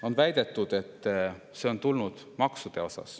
On väidetud, et see on tulnud tänu maksudele.